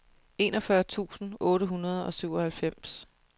enogfyrre tusind otte hundrede og syvoghalvfems